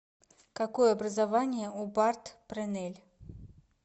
какое образование у барт пренель